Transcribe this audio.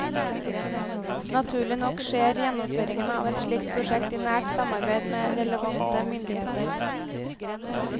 Naturlig nok skjer gjennomføringen av et slikt prosjekt i nært samarbeid med relevante myndigheter.